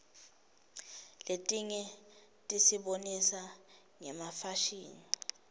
letinye tisibonisa ngefashini